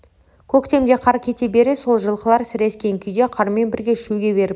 көктемде қар кете бере сол жылқылар сірескен күйде қармен бірге шөге беріпті